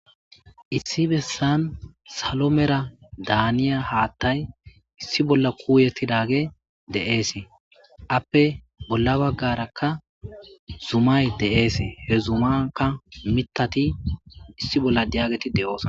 issi bessan salo mera daaniya haattay issi bolla kuuyetidage deeese appe bolla baggarakka zumay deees he zumaka mitati issi bolla diageti de7oos